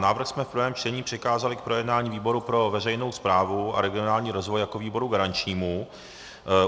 Návrh jsme v prvém čtení přikázali k projednání výboru pro veřejnou správu a regionální rozvoj jako výboru garančnímu.